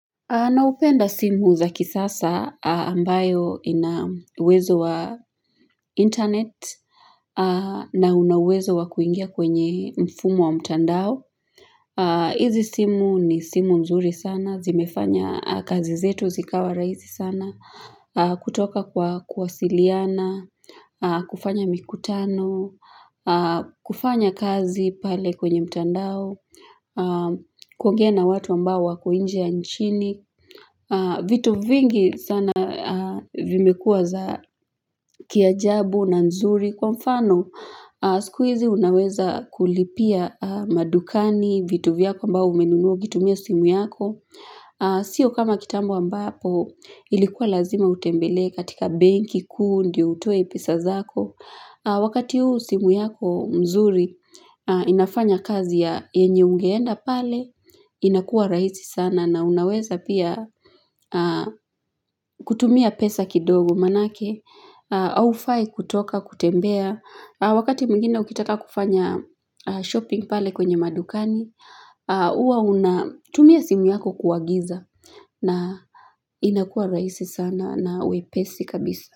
Naupenda simu za kisasa ambayo inauwezo wa internet na unauwezo wa kuingia kwenye mfumo wa mtandao. Izi simu ni simu nzuri sana, zimefanya kazi zetu zikawa rahisi sana, kutoka kwa kuwasiliana, kufanya mikutano, kufanya kazi pale kwenye mtandao, kuongea na watu ambao wako inje ya nchini vitu vingi sana vimekuwa za kiajabu na nzuri kwa mfano sikuizi unaweza kulipia madukani vitu vyako ambao umenunua ukitumia simu yako sio kama kitambo ambapo ilikuwa lazima utembelee katika banki kuu ndio utoe pesa zako au wakati huu simu yako mzuri inafanya kazi ya yenye ungeenda pale inakua rahisi sana na unaweza pia kutumia pesa kidogo manake haufai kutoka kutembea wakati mwingine ukitaka kufanya shopping pale kwenye madukani hua unatumia simu yako kuagiza na inakua rahisi sana na wepesi kabisa.